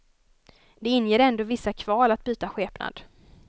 Det inger ändå vissa kval att byta skepnad.